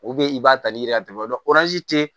i b'a tali ka tɛmɛ tɛ